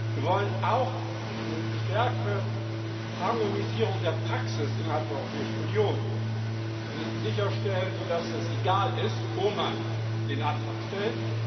Wir wollen auch eine stärkere Harmonisierung der Praxis innerhalb der Europäischen Union sicherstellen, so dass es egal ist, wo man den Antrag stellt.